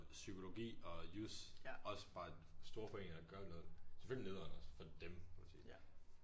Psykologi og jus også bare store foreninger gør noget selvfølgelig nederen også for dem kan man sige